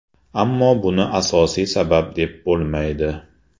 Ammo buni asosiy sabab deb bo‘lmaydi.